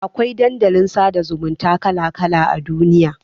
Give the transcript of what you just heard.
Akwai Dandalin sada zumunta kala kala a duniya